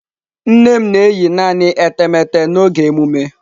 Nne m na-eyi naanị etemeete n'oge emume.